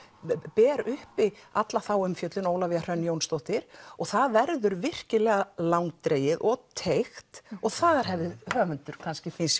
ber uppi alla þá umfjöllun hún Ólafía Hrönn Jónsdóttir það verður virkilega langdregið og teygt og þar hefði höfundur finnst